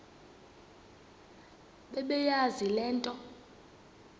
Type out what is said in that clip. bebeyazi le nto